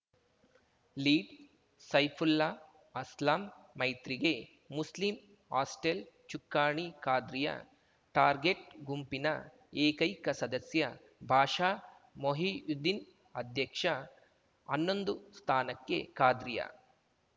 lead Saifulla Aslam ಮೈತ್ರಿಗೆ ಮುಸ್ಲಿಂ hostel ಚುಕ್ಕಾಣಿ ಖಾದ್ರಿಯಾ ಟಾರ್ಗೆಟ್‌ ಗುಂಪಿನ ಏಕೈಕ ಸದಸ್ಯ ಬಾಷಾ ಮೊಹಿಯುದ್ದೀನ್‌ ಅಧ್ಯಕ್ಷ ಅನ್ನೊಂದು ಸ್ಥಾನಕ್ಕೆ ಖಾದ್ರಿಯ